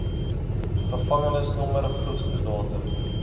gevangenisnommer vroegste datum